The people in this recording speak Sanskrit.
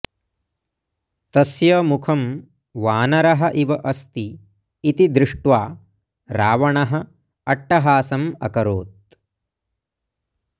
तस्य मुखं वानरः इव अस्ति इति दृष्ट्वा रावणः अट्टहासम् अकरोत्